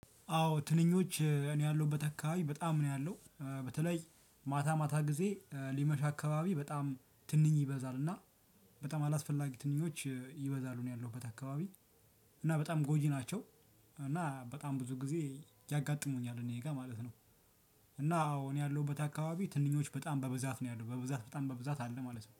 አዎ ትንኞች እኔ ያለሁበት አካባቢ በጣም ነው ያለው፤ በተለይ ማታ ማታ ጊዜ ሊመሽ አካባቢ በጣም ትንኝ ይበዛል እና በጣም አላስፈላጊ ትንኞች ይበዛሉ እኔ ያለሁበት አካባቢ እና በጣም ጎጂ ናቸው። እና በጣም ብዙ ጊዜ ያጋጥሙኛል እኔ ጋር ማለት ነው። እና አዎ እኔ ያለሁበት አካባቢ ትንኞች በጣም በብዛት ነው ያለው። በብዛት በጣም በብዛት አለ ማለት ነው።